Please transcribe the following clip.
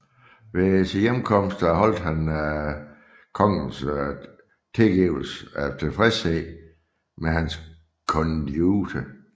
Ved sin hjemkomst erholdt han kongens tilkendegivelse af tilfredshed med hans konduite